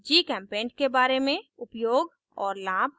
gchempaint के बारे में उपयोग और लाभ